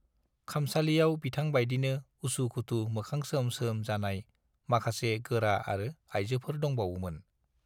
खामसालियाव बिथां बाइदिनो उसु-खुथु मोखां सोम-सोम जानाय माखासे गोरा आरो आइजोफोर दंबावोमोन।